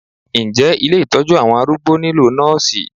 Ǹjẹ́ ilé Ìtọ́jú àwọn arúgbó nílò àwọn Nọ́sìì.